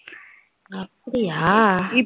அப்டியா?